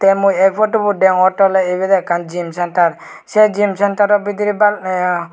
tey mui eh photobot degongottey oley ebot ekkan gym center seh gym centero bidirey ba ye.